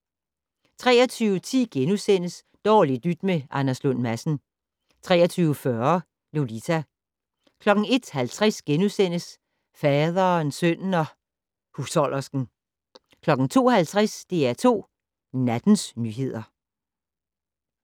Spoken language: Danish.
23:10: Dårligt nyt med Anders Lund Madsen * 23:40: Lolita 01:50: Faderen, sønnen og husholdersken * 02:50: DR2 Nattens nyheder